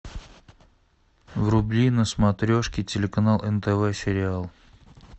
вруби на смотрешке телеканал нтв сериал